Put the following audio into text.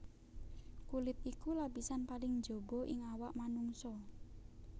Kulit iku lapisan paling njaba ing awak manungsa